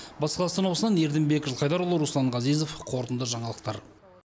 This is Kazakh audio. батыс қазақстан облысынан ердімбек жылқайдарұлы руслан ғазизов қорытынды жаңалықтар